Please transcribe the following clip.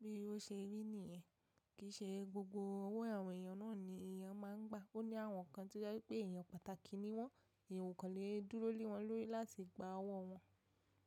Bí ó ṣe rí nìyẹn, kì í ṣe gbogbo ọwọ́ àwọn èèyàn náà ni èèyàn máa ń gba. Ó ní àwọn kan tí ó jẹ́ wípé èèyàn pàtàkì ni wọ́n. Ẹ̀yan o kan le dúró lewọ́n lórí láti gba ọwọ́ wọn.